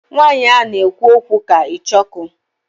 Nwanyi a na ekwu okwu ka Icheoku